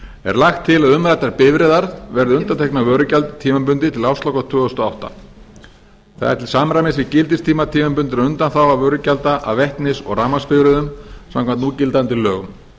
er lagt til að umræddar bifreiðar verði undanþegnar vörugjaldi tímabundið til ársloka tvö þúsund og átta það er til samræmis við gildistíma tímabundinna undanþágna vörugjalda af vetnis og rafmagnsbifreiðum samkvæmt núgildandi lögum